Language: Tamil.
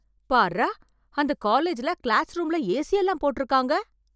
பார்ரா அந்த காலேஜ்ல கிளாஸ் ரூம்ல ஏசி எல்லாம் போட்டு இருக்காங்க